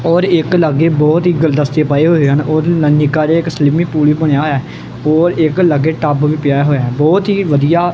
ਔਰ ਇੱਕ ਲਾਗੇ ਬਹੁਤ ਹੀ ਗੁਲਦਸਤੇ ਪਏ ਹੋਏ ਹਨ ਉਹ ਵੀ ਨ ਨਿੱਕਾ ਜਿਹਾ ਇੱਕ ਸਲਿਮਿੰਗ ਪੂਲ ਵੀ ਬਣਿਆ ਹੋਇਆ ਐ ਔਰ ਇੱਕ ਲੱਗੇ ਟੱਬ ਵੀ ਪਿਆ ਹੋਇਆ ਐ ਬਹੁਤ ਹੀ ਵਧੀਆ--